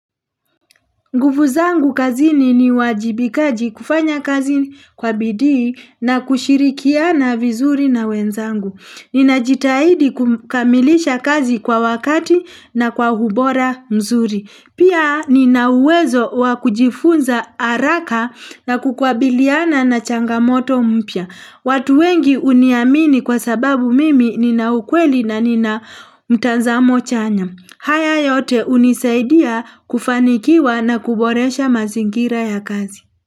Nguvu zangu kazini ni uwajibikaji kufanya kazi kwa bidii na kushirikiana vizuri na wenzangu. Ninajitahidi kukamilisha kazi kwa wakati na kwa ubora mzuri. Pia nina uwezo wa kujifunza haraka na kukabiliana na changamoto mpya. Watu wengi huniamini kwa sababu mimi nina ukweli na nina mtanzamo chanya. Haya yote unisaidia kufanikiwa na kuboresha mazingira ya kazi.